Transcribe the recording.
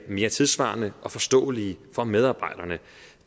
mere tidssvarende og forståelige for medarbejderne